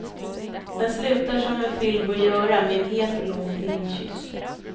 Den slutar som en film bör göra, med en het och lång filmkyss.